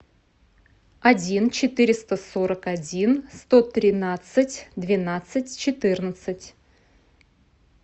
один четыреста сорок один сто тринадцать двенадцать четырнадцать